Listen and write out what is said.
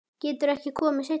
Geturðu ekki komið seinna?